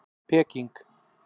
Peking